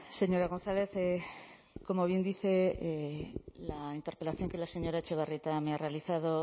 señora gonzález como bien dice la interpelación que la señora etxebarrieta me ha realizado